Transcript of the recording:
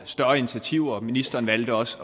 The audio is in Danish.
større initiativer ministeren valgte også